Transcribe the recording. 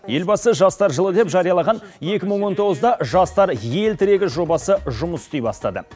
елбасы жастар жылы деп жариялаған екі мың он тоғызда жастар ел тірегі жобасы жұмыс істей бастады